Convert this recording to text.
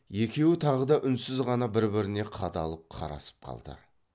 екеуі тағы да үнсіз ғана бір біріне қадалып қарасып қалды